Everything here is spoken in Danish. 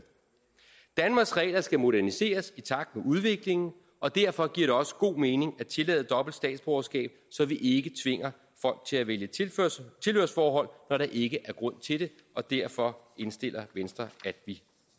danmarks regler skal moderniseres i takt med udviklingen og derfor giver det også god mening at tillade dobbelt statsborgerskab så vi ikke tvinger folk til at vælge tilhørsforhold når der ikke er grund til det og derfor indstiller venstre at vi